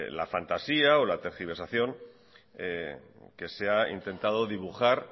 la fantasía o la tergiversación que se ha intentado dibujar